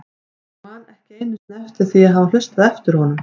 Ég man ekki einu sinni eftir því að hafa hlustað eftir honum.